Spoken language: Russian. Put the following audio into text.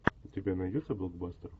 у тебя найдется блокбастер